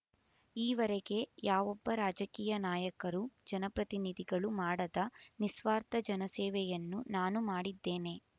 ಈವರೆಗೆ ಯಾವೊಬ್ಬ ರಾಜಕೀಯ ನಾಯಕರು ಜನಪ್ರತಿನಿಧಿಗಳು ಮಾಡದ ನಿಸ್ವಾರ್ಥ ಜನಸೇವೆಯನ್ನು ನಾನು ಮಾಡಿದ್ದೇನೆ